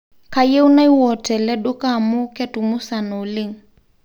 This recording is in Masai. Kayieu naiwuot tele duka amu ketumusana oleng